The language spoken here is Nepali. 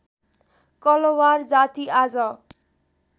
कलवार जाति आज